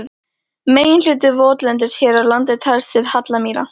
Meginhluti votlendis hér á landi telst til hallamýra.